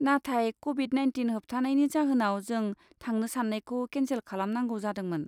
नाथाय Covid nineteen होबथानायनि जाहोनाव जों थांनो सान्नायखौ केनसेल खालामनांगौ जादोंमोन।